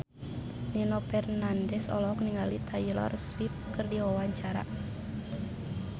Nino Fernandez olohok ningali Taylor Swift keur diwawancara